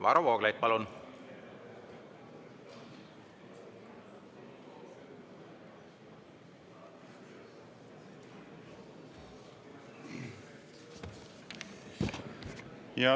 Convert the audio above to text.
Varro Vooglaid, palun!